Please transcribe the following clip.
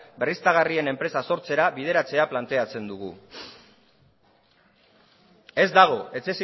berriztagarrien enpresa sortzera bideratzea planteatzen dugu ez dago